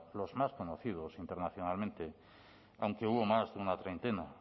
los más conocidos internacionalmente aunque hubo más de una treintena